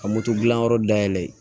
Ka moto dilan yɔrɔ dayɛlɛn